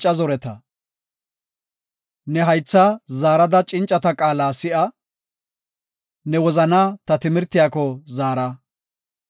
Ne haytha zaarada cincata qaala si7a; ne wozanaa ta timirtiyako zaara.